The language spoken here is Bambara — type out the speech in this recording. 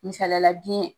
Misalila biyɛn